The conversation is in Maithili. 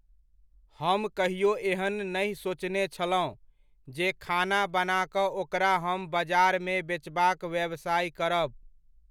हम कहियो एहन नहि सोचने छलहुँ, जे खाना बना कऽ ओकरा हम बजारमे बेचबाक व्यवसाय करब।